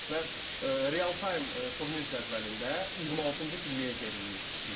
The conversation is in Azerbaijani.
Və real time turnir cədvəlində 26-cı pilləyə geriləyir City.